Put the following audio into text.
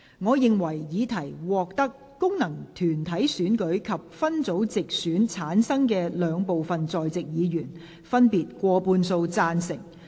我認為議題獲得經由功能團體選舉產生及分區直接選舉產生的兩部分在席議員，分別以過半數贊成。